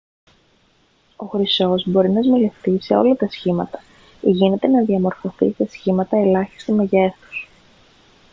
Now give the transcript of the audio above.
ο χρυσός μπορεί να σμιλευτεί σε όλα τα σχήματα γίνεται να διαμορφωθεί σε σχήματα ελάχιστου μεγέθους